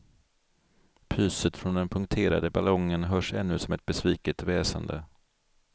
Pyset från den punkterade ballongen hörs ännu som ett besviket väsande.